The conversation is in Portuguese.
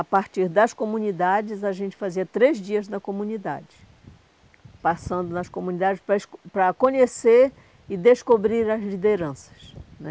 A partir das comunidades, a gente fazia três dias na comunidade, passando nas comunidades para para conhecer e descobrir as lideranças né.